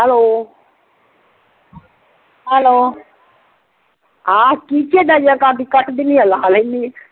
Hello hello ਹਾਂ ਕੀ ਚਾਹਿਦਾ ਜੀ? ਕਰਦੀ ਆ ਕੱਟ ਦੇਨੀ ਆ ਲਾ ਲੈਣੀ ਆ